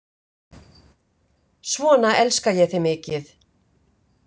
Svona elska ég þig mikið.